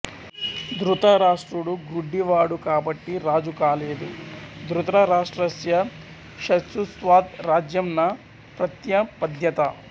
దృతరాష్ట్రుడు గ్రుడ్డివాడు కాబట్టి రాజు కాలేదుధృతరాష్ట్రస్య చక్ష్యుస్త్త్వాద్ రాజ్యం న ప్రత్యపద్యత